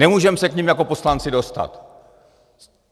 Nemůžeme se k nim jako poslanci dostat.